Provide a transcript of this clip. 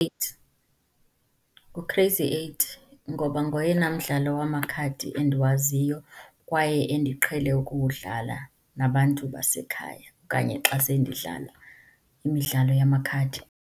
Eight, ngu-crazy eight ngoba ngoyena mdlalo wamakhadi endiwaziyo kwaye endiqhele ukuwudlala nabantu basekhaya okanye xa sendidlala imidlalo yamakhadi.